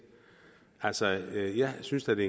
altså jeg synes da det